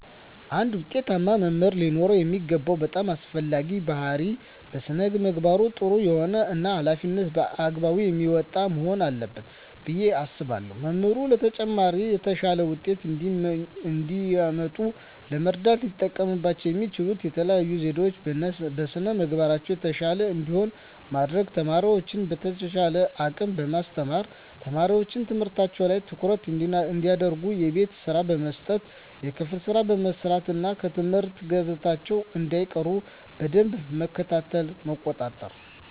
አንድ ውጤታማ መምህር ሊኖረው የሚገባው በጣም አስፈላጊው ባህሪይ በስነ ምግባሩ ጥሩ የሆነ እና ሀላፊነቱን በአግባቡ የሚወጣ መሆን አለበት ብየ አስባለሁ። መምህራን ለተማሪዎቻቸው የተሻለ ውጤት እንዲያመጡ ለመርዳት ሊጠቀሙባቸው የሚችሉባቸው የተለዩ ዘዴዎች - በስነ ምግባራቸው የተሻሉ እንዲሆኑ ማድረግ፣ ተማሪዎቻቸውን በተቻላቸው አቅም በማስተማር፣ ተማሪዎች ትምህርታቸው ላይ ትኩረት እንዲያደርጉ የቤት ስራ በመስጠት የክፍል ስራ በማሰራት እና ከትምህርት ገበታቸው እንዳይቀሩ በደንብ መከታተልና መቆጣጠር።